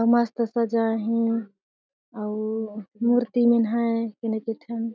मस्त सजाए हे अउ मूर्ति मन ह केने केठा--